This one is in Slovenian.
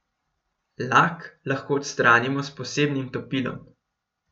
Lak lahko odstranimo s posebnim topilom.